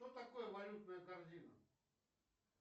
что такое валютная корзина